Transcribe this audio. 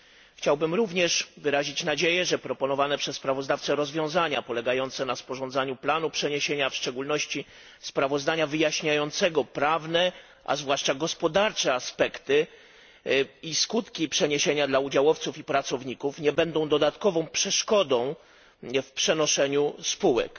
Chciałbym również wyrazić nadzieję, że proponowane przez sprawozdawcę rozwiązania polegające na sporządzaniu planu przeniesienia, a w szczególności sprawozdania wyjaśniającego prawne, a zwłaszcza gospodarcze aspekty i skutki przeniesienia dla udziałowców i pracowników, nie będą dodatkową przeszkodą w przenoszeniu spółek.